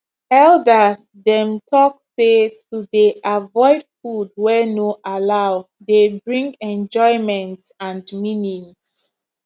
elders dem talk say to dey avoid food wey no allow dey bring enjoyment and meaning